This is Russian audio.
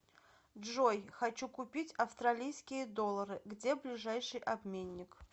джой хочу купить австралийские доллары где ближайший обменник